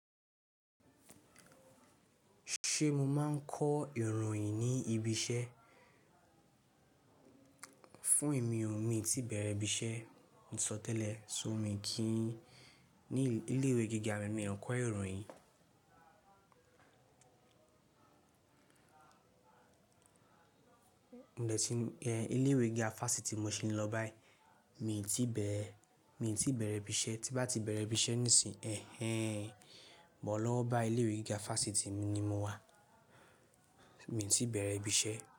Ṣé mo máa ń kọ ìròyìn ní ibi iṣẹ́? Fún emi o, mi ò tí bẹ̀rẹ̀ ibi iṣẹ́, mo sọtẹ́lẹ̀, ṣó mi kí í ní ilé ìwé gíga mi, mi ò kọ ìròyìn. Ilé ìwé gíga Fáṣítì mo ṣe lọ báyìí, mi ò tí bẹ̀rẹ̀ ibi iṣẹ́, tí bá ti bẹ̀rẹ̀ ibi iṣẹ́ nísìnyí, ẹhen. Mọ̀ ọ́n lọ́wọ́ bá ilé ìwé gíga Fáṣítì mi ni mo wà, mi ò tí bẹ̀rẹ̀ ibi iṣẹ́